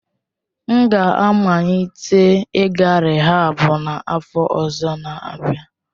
M ga-amalite ịga rịhaab n'afọ ọzọ n'abia.